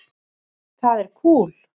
Það er kúl.